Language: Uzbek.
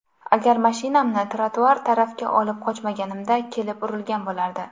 Agar mashinamni trotuar tarafga olib qochmaganimda, kelib urilgan bo‘lardi.